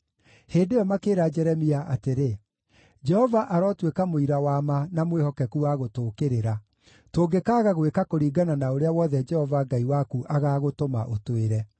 Hĩndĩ ĩyo makĩĩra Jeremia atĩrĩ, “Jehova arotuĩka mũira wa ma na mwĩhokeku wa gũtũũkĩrĩra, tũngĩkaaga gwĩka kũringana na ũrĩa wothe Jehova Ngai waku agaagũtũma ũtwĩre.